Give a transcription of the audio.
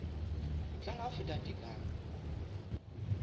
ho tlala ho feta tekano